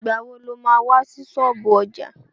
Ìgbà wo lo má wá sí ṣọ́ọ̀bú ọjà?